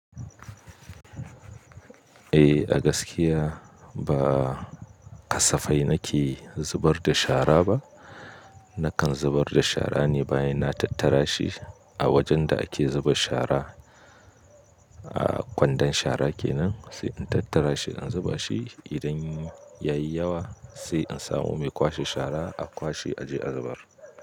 Eh a gaskiya ba kasafai na ke zubar da shara ba. Na kan zubar da shara ne bayan na tattara shi a wajen da ake zuba shara. A kwandon shara kenan sai in tattara shi in zuba shi. Idan ya yi yawa sai in samu mai kwashe shara a kwashe a je a zubar.